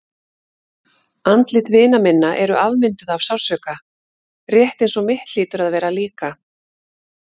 Andlit vina minna eru afmynduð af sársauka, rétt eins og mitt hlýtur að vera líka.